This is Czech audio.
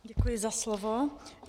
Děkuji za slovo.